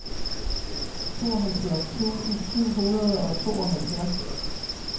tooghalvfjerds tusind syv hundrede og tooghalvfjerds